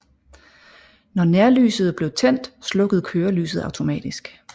Når nærlyset blev tændt slukkede kørelyset automatisk